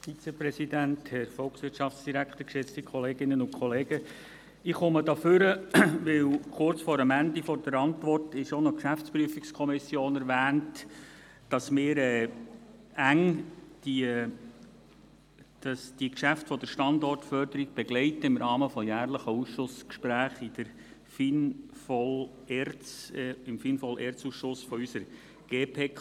Ich komme hier nach vorne, weil kurz vor dem Ende der Antwort auch noch die GPK erwähnt ist und dass wir die Geschäfte der Standortförderung im Rahmen von jährlichen Gesprächen im FIN-VOL-ERZ-Ausschuss unserer GPK eng begleiten.